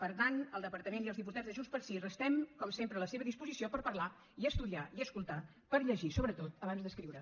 per tant el departament i els diputats de junts pel sí restem com sempre a la seva disposició per parlar i estudiar i escoltar per llegir sobretot abans d’escriure